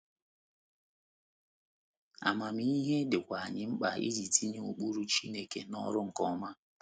Amamihe dịkwa anyị mkpa iji tinye ụkpụrụ Chineke n’ọrụ nke ọma.